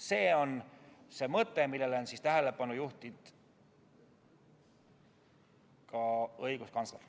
See on see mõte, millele on tähelepanu juhtinud ka õiguskantsler.